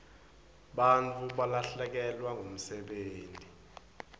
bantfu balahlekelwa ngumsebenti